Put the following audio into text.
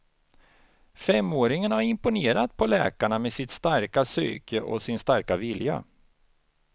Femåringen har imponerat på läkarna med sitt starka psyke och sin starka vilja.